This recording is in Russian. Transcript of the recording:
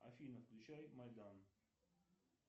афина включай майдан